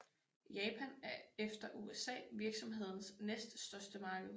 Japan er efter USA virksomhedens næststørste marked